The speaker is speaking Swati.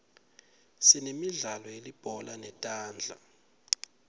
sinemidlalo yelibhola letandla